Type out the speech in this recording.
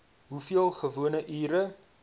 hoeveel gewone ure